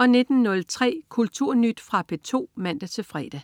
19.03 Kulturnyt. Fra P2 (man-fre)